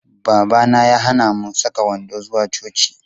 Babana ya hana mu saka wando zuwa coci.